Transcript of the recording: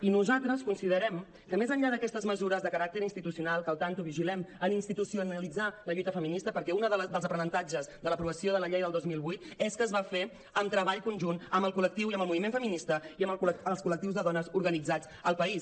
i nosaltres considerem que més enllà d’aquestes mesures de caràcter institucional que compte vigilem a institucionalitzar la lluita feminista perquè un dels aprenentatges de l’aprovació de la llei del dos mil vuit és que es va fer amb treball conjunt amb el col·lectiu i amb el moviment feminista i amb els collectius de dones organitzats al país